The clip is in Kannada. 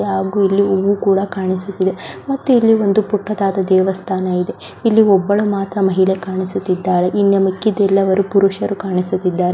ಹಾಗು ಇಲ್ಲಿ ಹೂವು ಕೂಡ ಕಾಣಿಸುತ್ತಿದೆ ಮತ್ತೆ ಇಲ್ಲಿ ಒಂದು ಪುಟ್ಟದಾದ ದೇವಸ್ಥಾನ ಇದೆ ಇಲ್ಲಿ ಒಬ್ಬಳು ಮಾತ್ರ ಮಹಿಳೆ ಕಾಣಿಸುತ್ತಿದ್ದಾಳೆ ಮತ್ತೆ ಮಿಕ್ಕಿದ್ದೆಲ್ಲವರು ಪುರುಷರು ಕಾಣಿಸುತ್ತಿದ್ದಾರೆ.